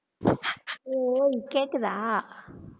Y கேக்குதா